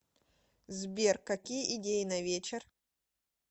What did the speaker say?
сбер какие идеи на вечер